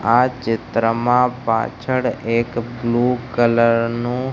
આ ચિત્રમાં પાછળ એક બ્લુ કલર નું--